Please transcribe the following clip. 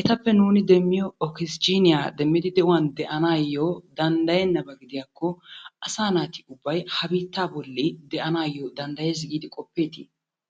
etappe nuun deemmiyoo okisijiiniyaa demmidi de'uwan de'anawu danddayenaba gidiyaakko asa naati ubbay ha biittaa bolli de'anayyo danddayees giidi qopeeti?